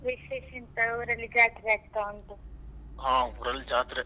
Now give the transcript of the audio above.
ವಿಶೇಷ ಎಂತ ಊರಲ್ಲಿ ಜಾತ್ರೆ ಆಗ್ತಾ ಉಂಟು.